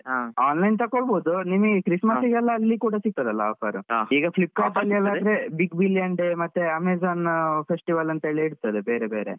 Online ತಕೋಬಹುದು ನಿಮ್ಗೆ Christmas ಗೆ ಅಲ್ಲಿ ಕೂಡ ಸಿಗ್ತದಲ್ಲ offer ಈಗ Flipkart ಅಲ್ಲಿಯೆಲ್ಲ big billion day Amazon festival ಅಂತ ಎಲ್ಲಾ ಇರ್ತದೆ ಬೇರೆ ಬೇರೆ.